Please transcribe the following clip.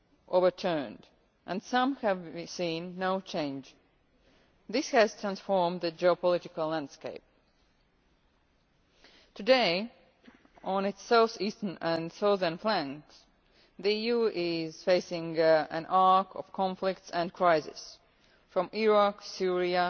overturned and some have seen no change. This has transformed the geopolitical landscape. Today, on its south eastern and southern flanks, the EU is facing an arc of conflicts and crises from Iraq, Syria